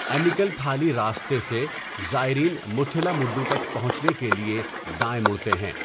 انیکل تھالی راستے سے، زائرین مُتھیلامُڈوو تک پہنچنے کیلۓ دائیں مڑتے ہیں.